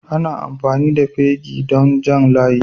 Ana amfani da fegi don Jan layi.